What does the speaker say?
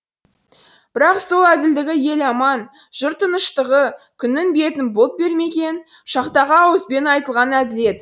бірақ сол әділдігі ел аман жұрт тыныштығы күннің бетін бұлт бермеген шақтағы ауызбен айтылған әділет